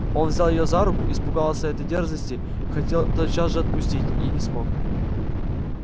он взял её за руку испугался этой дерзости хотел тотчас же отпустить и не смог